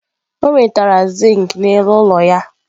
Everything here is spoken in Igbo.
O nwetara zinc n'elu ụlọ ya.